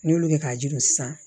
N'i y'olu kɛ k'a jiri sisan